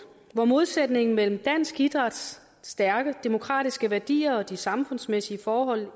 hvor modsætningen mellem dansk idræts stærke demokratiske værdier og de samfundsmæssige forhold